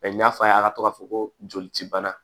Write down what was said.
n y'a fɔ a ye a ka fɔ ko joli ci bana